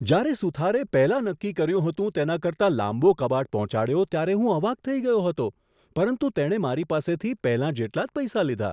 જ્યારે સુથારે પહેલાં નક્કી કર્યું હતું તેના કરતાં લાંબો કબાટ પહોંચાડ્યો ત્યારે હું અવાક થઈ ગયો હતો, પરંતુ તેણે મારી પાસેથી પહેલાં જેટલા જ પૈસા લીધા.